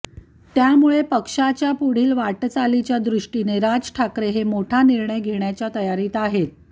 त्यामुळे पक्षाच्या पुढील वाटचालीच्या दृष्टीने राज ठाकरे हे मोठा निर्णय घेण्याच्या तयारीत आहेत